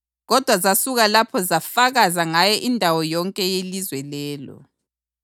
Kodwa zasuka lapho zafakaza ngaye indawo yonke yelizwe lelo.